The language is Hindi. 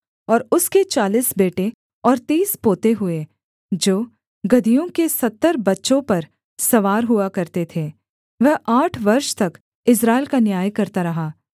और उसके चालीस बेटे और तीस पोते हुए जो गदहियों के सत्तर बच्चों पर सवार हुआ करते थे वह आठ वर्ष तक इस्राएल का न्याय करता रहा